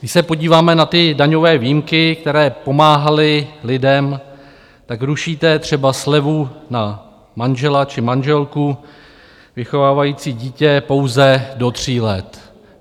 Když se podíváme na ty daňové výjimky, které pomáhaly lidem, tak rušíte třeba slevu na manžela či manželku vychovávající dítě pouze do tří let.